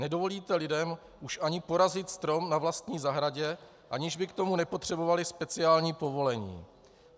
Nedovolíte lidem už ani porazit strom na vlastní zahradě, aniž by k tomu nepotřebovali speciální povolení.